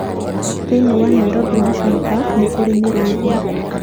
Thĩinĩ wa Nairobi National Park nĩ kũrĩ mĩrũũthi.